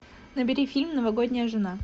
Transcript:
набери фильм новогодняя жена